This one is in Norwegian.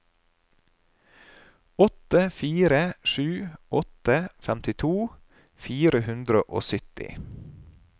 åtte fire sju åtte femtito fire hundre og sytti